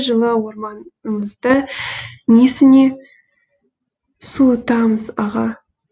жылы орман ымызды несіне суытамыз аға